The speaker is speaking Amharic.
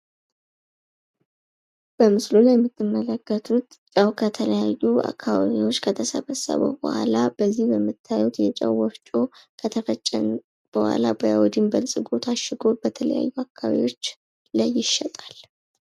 በምስሉ ላይ የምትመለከቱ ከተለያዩ አካባቢዎች ከተሰበሰቡ በኋላ በዚህ በምታዩት የጨው ወፍጮ ከተፈጨ በኋላ በአዮድን በልጽጎ ታሽጎ በተለያዩ አካባቢዎች ላይ ይሸጣል።